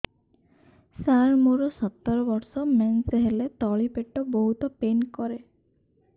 ସାର ମୋର ସତର ବର୍ଷ ମେନ୍ସେସ ହେଲେ ତଳି ପେଟ ବହୁତ ପେନ୍ କରେ